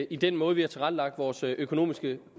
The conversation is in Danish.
i den måde vi har tilrettelagt vores økonomiske